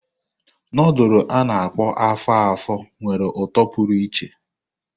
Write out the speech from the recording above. Nudulu a-na akpo afo-afo nwere uto pụrụ iche.